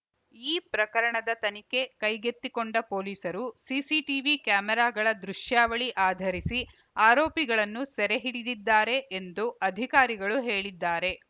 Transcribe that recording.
ಈ ಪ್ರಕರಣದ ತನಿಖೆ ಕೈಗೆತ್ತಿಕೊಂಡ ಪೊಲೀಸರು ಸಿಸಿಟಿವಿ ಕ್ಯಾಮೆರಾಗಳ ದೃಶ್ಯಾವಳಿ ಆಧರಿಸಿ ಆರೋಪಿಗಳನ್ನು ಸೆರೆ ಹಿಡಿದಿದ್ದಾರೆ ಎಂದು ಅಧಿಕಾರಿಗಳು ಹೇಳಿದ್ದಾರೆ